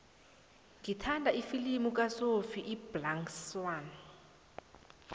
ngithanda ifilimu kasophie iblack swann